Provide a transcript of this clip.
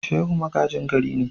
Shehu magajin gari ne.